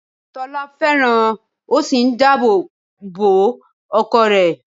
Tọ́lá fẹ́ràn ó sì n dáàbò bo ọkọ rẹ̀